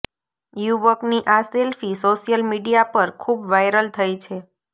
યુવકની આ selfie social media પર ખુબ વાઈરલ થઈ છે